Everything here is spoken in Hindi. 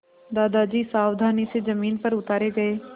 दादाजी सावधानी से ज़मीन पर उतारे गए